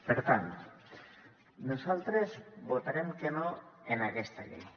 per tant nosaltres votarem que no en aquesta llei